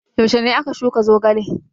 Yaushe ne aka shuka zogale?